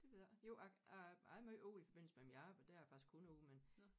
Det ved jeg ikke jo jeg jeg er jeg er meget ude i forbindelse med mit arbejde der er jeg faktisk kun ude men